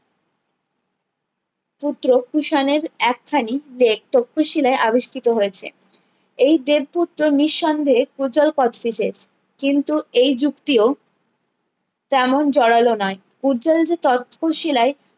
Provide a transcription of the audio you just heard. পুত্র কুষাণের এক খানি lake তক্ষশিলায়ে আবিষ্কৃত হয়েছে এই দেব পুত্র নিঃসন্দেহে পূর্জল কোচটিসেস কিন্তু এই যুক্তিও তেমন জোরালো নয় পূর্জল যে তক্ষশিলায়ে